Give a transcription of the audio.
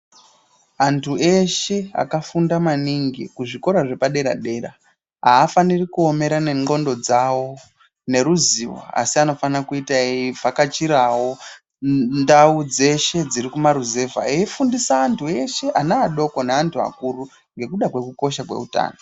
Antu eshe aka funda maningi kuzvikora zvepa dera dera aafaniri kuomera ne ndxondo dzawo neruzivo asi ano fana kuita ei vhakachirawo ndau dzeshe dziri ku maruzeva ei fundise eshe ana adoko ne andu akuru ngekuda kweku kosha kwe utano.